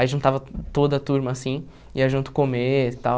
Aí, juntava toda a turma, assim, ia junto comer e tal.